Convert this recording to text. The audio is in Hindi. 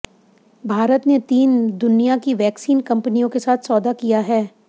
भारत ने तीन दुनिया की वैक्सीन कंपनियों के साथ सौदा किया है